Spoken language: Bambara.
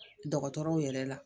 Dɔgɔtɔrɔw yɛrɛ la